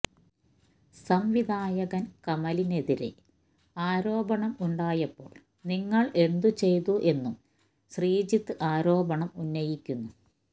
സംവിധായകൻ കമലിനെതിരെ ആരോപണം ഉണ്ടായപ്പോൾ നിങ്ങൾ എന്തുചെയ്തു എന്നും ശ്രീജിത്ത് ആരോപണം ഉന്നയിക്കുന്നു